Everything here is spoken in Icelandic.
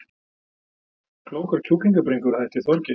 Klókar kjúklingabringur að hætti Þorgeirs